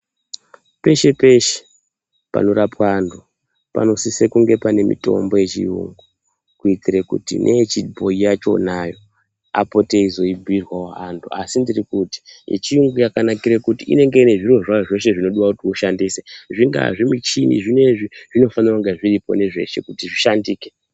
Peshe-peshe panorapwa antu panosiso kunge pane mitombo yechiyungu. Kuitire kuti neyechibhoyi yachonayo apote eizoibhuirwavo antu. Asi ndiri kuti yechiyungu yakanakire kuti inenge inezviriro zveshe zvinodiwa kuti ushandise zvingaa zvimichini zvinoizvi zvinofanira kunge zviripo nezveshe kuti zvishandike.